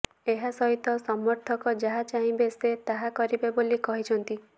ଏହା ସହିତ ସମର୍ଥକ ଯାହା ଚାହିଁବେ ସେ ତାହା କରିବେ ବୋଲି କହିଛନ୍ତି